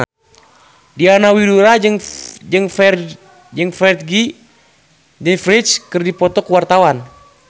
Diana Widoera jeung Ferdge keur dipoto ku wartawan